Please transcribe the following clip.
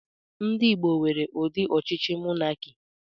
Ndị Igbo nwere ụdị ọchịchị monakị.